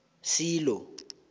silo